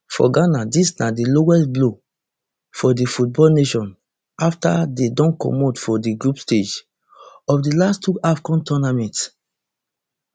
for ghana dis na di lowest blow for di football nation afta dey don comot for di group stage of di last two afcon tournaments